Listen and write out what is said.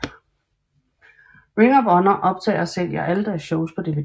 Ring of Honor optager og sælger alle deres shows på dvd